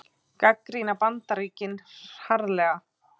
Gagnrýna Bandaríkin harðlega